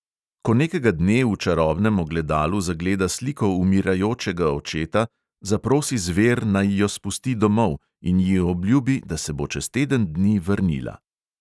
Ko nekega dne v čarobnem ogledalu zagleda sliko umirajočega očeta, zaprosi zver, naj jo spusti domov, in ji obljubi, da se bo čez teden dni vrnila.